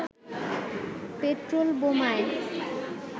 petrol বোমায়